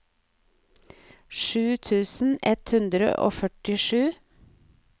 sju tusen ett hundre og førtisju